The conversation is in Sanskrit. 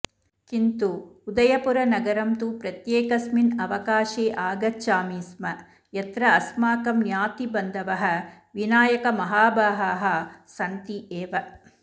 किन्तु उदयपुरनगरं तु प्रत्येकस्मिन् अवकाशे आगच्छामि स्म यत्र अस्माकं ज्ञातिबन्धवः विनायकमाहाभागाः सन्ति एव